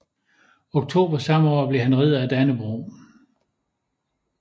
Oktober samme år blev han Ridder af Dannebrog